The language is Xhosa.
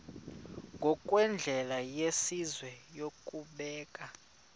ngokwendlela yesizwe yokubeka